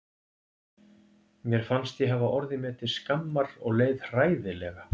Mér fannst ég hafa orðið mér til skammar og leið hræðilega.